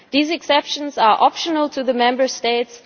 These exceptions are optional to the Member States.